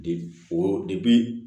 De o de bi